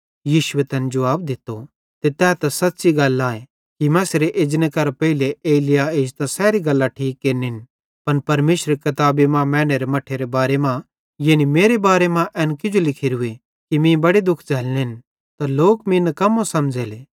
यीशुए तैन जुवाब दित्तो ते तै सच़्च़ी गल आए कि मसीहेरे एजने केरां पेइले एलिय्याह एजतां सैरी गल्लां ठीक केरनिन पन परमेशरेरी किताबी मां मैनेरे मट्ठेरे बारे मां यानी मेरे बारे मां एन किजो लिखोरूए कि मीं बड़े दुख झ़ल्लनेन त लोक मीं निकम्मो समझ़ेले